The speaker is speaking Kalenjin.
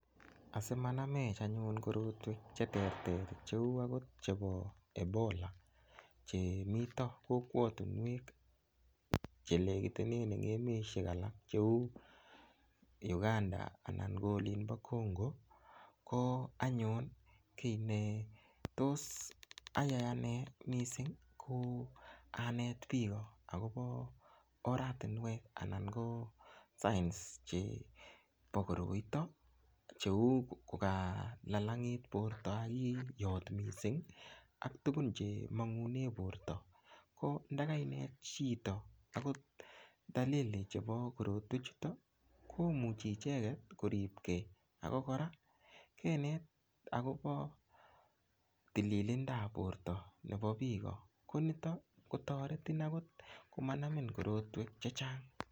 Asimanamech anyun korotwek cheterter cheu akot chebo ebola chemito kokwotunwek chelekitenen en emeshek alak cheu Ugandan anan ko olinpo Congo ko anyun kiy netos ayay ane mising ko anet piko akopo oratinwek anan ko signs chepo koroito cheu kukalalang'it porto akiyot mising ak tukun chemang'une porto ko ndakainet chito akot dalili chepo korotwek chuto komuchei icheget koripkei akokora kenet akopo tililindo ap porto nepo piko konito kotoretin akot komanamin korotwek chechang